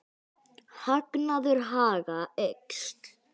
Hagnaður Haga eykst